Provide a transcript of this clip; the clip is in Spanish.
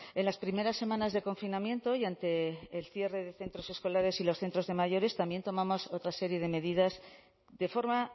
en las primeras semanas de confinamiento y ante el cierre de centros escolares y los centros de mayores también tomamos otra serie de medidas de forma